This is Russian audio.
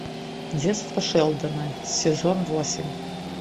детство шелдона сезон восемь